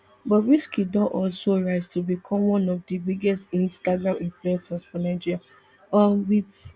bobrisky don also rise to become one of di biggest instagram influencers for nigeria um wit